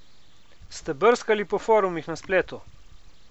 Ste brskali po forumih na spletu?